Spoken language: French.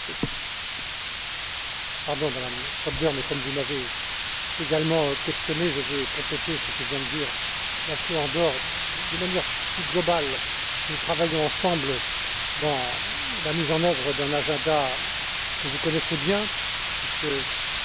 Pardon, Madame Schroedter, mais comme vous m'avez également questionné, je veux compléter ce que vient de dire László Andor de manière plus globale. Nous travaillons ensemble à la mise en œuvre d'un agenda que vous connaissez bien puisque plusieurs de vos commissions